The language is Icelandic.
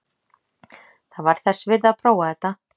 Það var þess virði að prófa þetta.